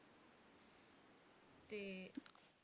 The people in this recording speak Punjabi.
ਤੇ